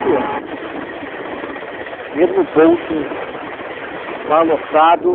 anos. Dinheiro no bolso, o bar lotado.